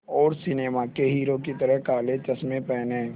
और सिनेमा के हीरो की तरह काले चश्मे पहने